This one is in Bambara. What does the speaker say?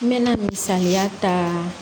N mɛna misaliya ta